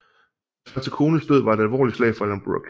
Hans første kones død var et alvorligt slag for Alan Brooke